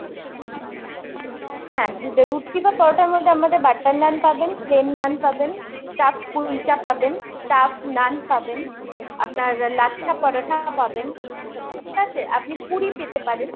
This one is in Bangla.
হ্যাঁ রুটি বা পরোটার মধ্যে আমাদের butter নান পাবেন, plain নান পাবেন, stuffed কুলচা পাবেন, stuffed নান পাবেন আপনার লাচ্ছা পরাঠা পাবেন। ঠিক আছে আপনি পুরি পেতে পারেন।